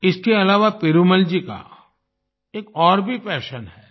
इसके अलावा पेरूमल जी का एक और भी पैशन है